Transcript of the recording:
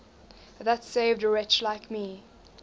that saved a wretch like me